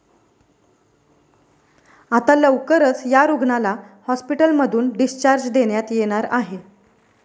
आता लवकरच या रुग्णाला हॉस्पिटलमधून डिस्चार्ज देण्यात येणार आहे.